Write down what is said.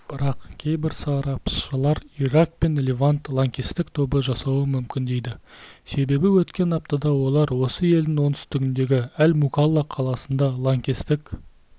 бірақ кейбір сарапшылар ирак пен левант лаңкестік тобы жасауы мүмкін дейді себебі өткен аптада олар осы елдің оңтүстігіндегі әл-мукалла қаласында лаңкестік